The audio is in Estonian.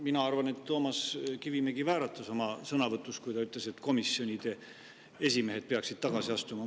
Mina arvan, et Toomas Kivimägi vääratas oma sõnavõtus, kui ta ütles, et komisjonide esimehed peaksid tagasi astuma.